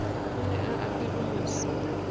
o ne a apere mose